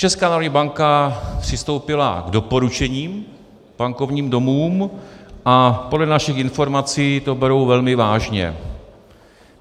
Česká národní banka přistoupila k doporučením bankovním domům a podle našich informací to berou velmi vážně.